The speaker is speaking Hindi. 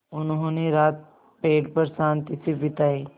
उन्होंने रात पेड़ पर शान्ति से बिताई